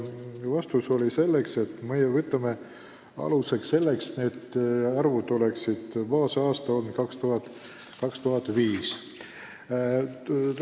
Vastus oli, et kehtestatud vähendamise määrad lähtuvad baasaasta 2005 näitajatest.